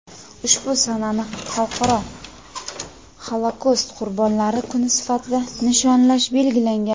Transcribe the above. ushbu sanani Xalqaro Xolokost qurbonlari kuni sifatida nishonlash belgilangan.